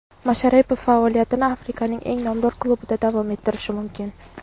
Masharipov faoliyatini Afrikaning eng nomdor klubida davom ettirishi mumkin.